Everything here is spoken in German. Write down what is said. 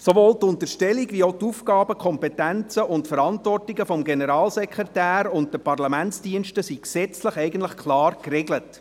Sowohl die Unterstellung als auch die Aufgaben, Kompetenzen und Verantwortungen des Generalsekretärs und der Parlamentsdienste sind gesetzlich eigentlich klar geregelt.